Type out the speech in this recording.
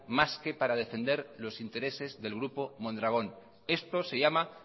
más que para defender los intereses del grupo mondragón esto se llama